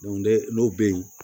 n'o bɛ ye